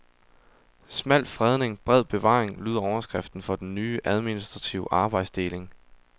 Smal fredning, bred bevaring lyder overskriften for den nye, administrative arbejdsdeling.